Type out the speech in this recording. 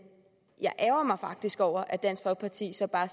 jeg ærgrer mig faktisk over at dansk folkeparti så bare